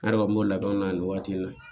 Ne yɛrɛ kɔni b'o ladɔn ni waati in na